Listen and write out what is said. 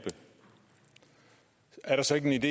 er jo så ikke helt